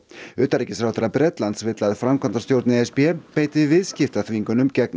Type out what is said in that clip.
utanríkisráðherra Bretlands vill að framkvæmdastjórn e s b beiti viðskiptaþvingunum gegn